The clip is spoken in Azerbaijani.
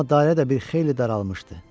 Amma dairə də bir xeyli daralmışdı.